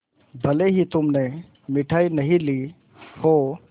भले ही तुमने मिठाई नहीं ली हो